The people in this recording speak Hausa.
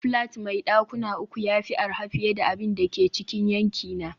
flat mai dakuna uku ya fi arha fiye da abin da ke cikin yankina